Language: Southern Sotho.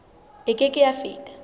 e ke ke ya feta